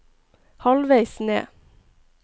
halvveis ned